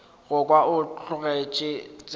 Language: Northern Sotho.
go kwa o tlogetše tsela